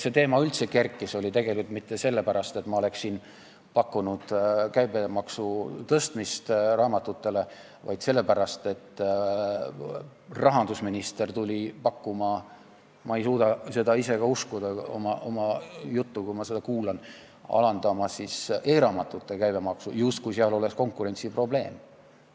See teema ei kerkinud üldse mitte sellepärast, et ma oleks siin pakkunud raamatute käibemaksu tõstmist, vaid sellepärast, et rahandusminister tuli pakkuma – ma ei suuda ka ise seda uskuda, kui ma seda juttu kuulan – alandada e-raamatute käibemaksu, justkui seal oleks konkurentsiprobleem.